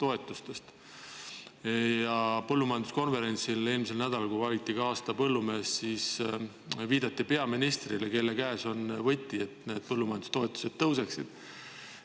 Eelmise nädala põllumajanduskonverentsil, kui valiti ka aasta põllumees, viidati peaministrile, kelle käes on võti, et need põllumajandustoetused tõuseksid.